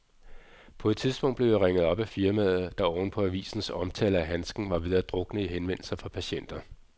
På et tidspunkt blev jeg ringet op af firmaet, der oven på avisens omtale af handsken var ved at drukne i henvendelser fra patienter.